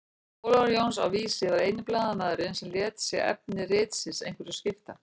Ólafur Jónsson á Vísi var eini blaðamaðurinn sem lét sig efni ritsins einhverju skipta.